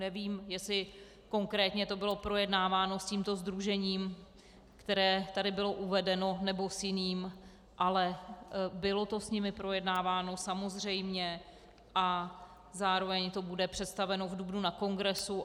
Nevím, jestli konkrétně to bylo projednáváno s tímto sdružením, které tady bylo uvedeno, nebo s jiným, ale bylo to s nimi projednáváno samozřejmě a zároveň to bude představeno v dubnu na kongresu.